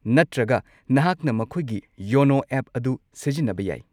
ꯅꯠꯇ꯭ꯔꯒ, ꯅꯍꯥꯛꯅ ꯃꯈꯣꯏꯒꯤ ꯌꯣꯅꯣ ꯑꯦꯞ ꯑꯗꯨ ꯁꯤꯖꯤꯟꯅꯕ ꯌꯥꯏ꯫